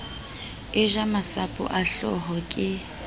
eja masapo a hlooho ke